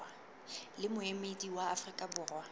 le moemedi wa afrika borwa